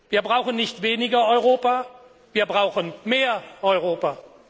Wir brauchen nicht weniger Europa, wir brauchen mehr Europa!